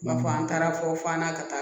B'a fɔ an taara fɔ f'an na ka taa